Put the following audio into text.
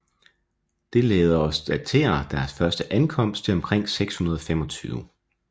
Det lader os datere deres første ankomst til omkring 625